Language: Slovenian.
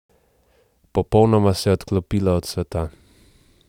Popolnoma se je odklopila od sveta.